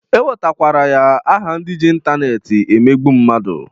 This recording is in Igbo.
E wetakwara ya aha ndị ji intaneeti emegbu mmadu.